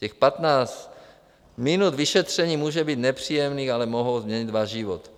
Těch patnáct minut vyšetření může být nepříjemných, ale mohou změnit váš život.